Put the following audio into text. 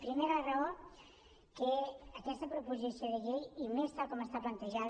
primera raó que aquesta proposició de llei i més tal com està plantejada